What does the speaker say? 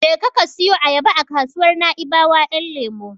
Je ka siyo ayaba a kasuwar Naibawa Ƴan lemo.